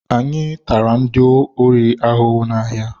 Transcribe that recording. Anyị tara ndị ori ahụhụ na-ahịa.